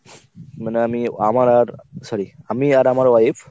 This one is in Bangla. মানে আমি আমার আর sorry আমি আর আমার wife.